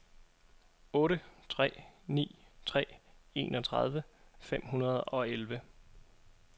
otte tre ni tre enogtredive fem hundrede og elleve